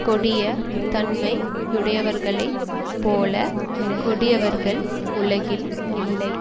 கொடிய தன்மை யுடையவர்களைப் போலக் கொடியவர்கள் உலகில் இல்லை